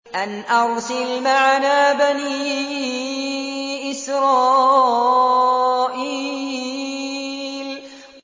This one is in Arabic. أَنْ أَرْسِلْ مَعَنَا بَنِي إِسْرَائِيلَ